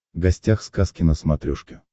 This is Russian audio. гостях сказки на смотрешке